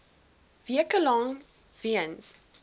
weke lank weens